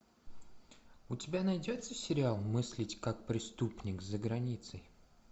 у тебя найдется сериал мыслить как преступник за границей